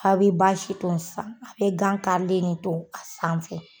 A be baasi gilan san a be gan karilen de ton a sanfɛ.